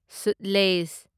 Sutlej